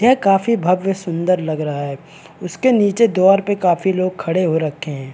यहाँ काफी भव्य सूंदर लग रहा है उस के नीचे द्वार पे काफी लोग खड़े हो रखे है।